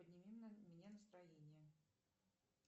подними мне настроение